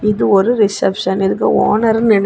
இது ஒரு ரிசப்ஷன் இதுக்கு ஓனரு நினை--